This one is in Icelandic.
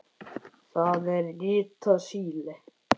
Það er ritað Síle.